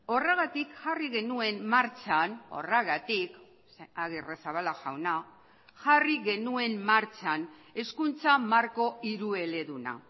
horregatik jarri genuen martxan horregatik agirrezabala jauna jarri genuen martxan hezkuntza marko hirueleduna